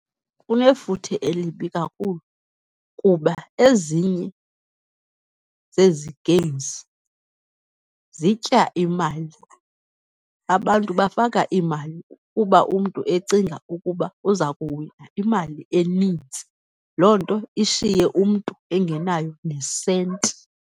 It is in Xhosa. Kunefuthe elibi kakhulu kuba ezinye zezi games zitya imali. Abantu bafaka iimali kuba umntu ecinga ukuba uzakuwina imali enintsi. Loo nto ishiye umntu engenayo nesenti.